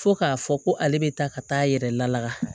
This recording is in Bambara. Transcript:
Fo k'a fɔ ko ale bɛ taa ka taa a yɛrɛ laka